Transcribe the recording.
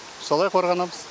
солай қорғанамыз